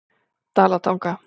Dalatanga